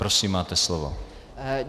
Prosím, máte slovo.